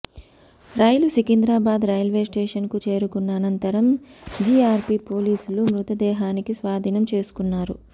రైలు సికింద్రాబాద్ రైల్వేస్టేషన్కు చేరుకున్న అనంతరం జీఆర్పీ పోలీసులు మృతదేహానికి స్వాధీనం చేసుకున్నారు